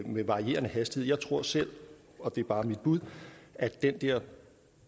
med varierende hastighed jeg tror selv og det er bare mit bud at den